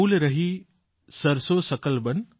ફૂલ રહી સરસોં સકલ બન